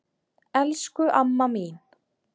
Elsku amma mín.